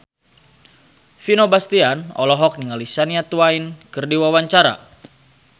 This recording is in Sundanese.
Vino Bastian olohok ningali Shania Twain keur diwawancara